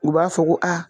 U b'a fɔ ko aa